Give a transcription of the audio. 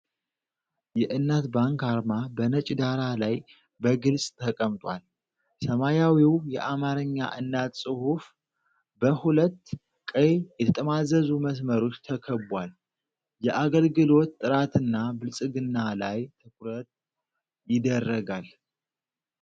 የእናት ባንክ አርማ በነጭ ዳራ ላይ በግልጽ ተቀምጧል። ሰማያዊው የአማርኛ "እናት" ጽሑፍ በሁለት ቀይ የተጠማዘዙ መስመሮች ተከቧል። የአገልግሎት ጥራትና ብልጽግና ላይ ትኩረት ይደረጋል።